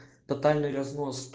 тотальный разнос